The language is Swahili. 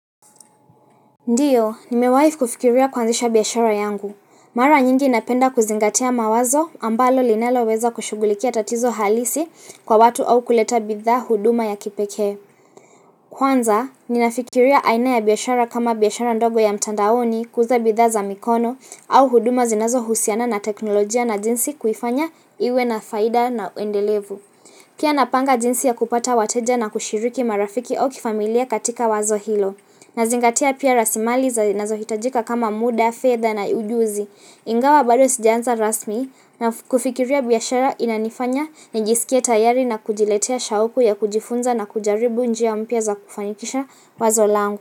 Ndiyo, nimewahi kufikiria kuanzisha biashara yangu. Mara nyingi napenda kuzingatia mawazo ambalo linaloweza kushughulikia tatizo halisi kwa watu au kuleta bidhaa huduma ya kipekee. Kwanza, ninafikiria aina ya biashara kama biashara ndogo ya mtandaoni kuuza bidhaa za mikono au huduma zinazohusiana na teknolojia na jinsi kuifanya iwe na faida na endelevu. Pia napanga jinsi ya kupata wateja na kushiriki marafiki au kifamilia katika wazo hilo nazingatia pia rasilimali za zinazohitajika kama muda, fedha na ujuzi Ingawa bado sijaanza rasmi na kufikiria biashara inanifanya nijisikie tayari na kujiletea shauku ya kujifunza na kujaribu njia mpya za kufanikisha wazo langu.